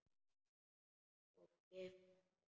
Og geiflar sig.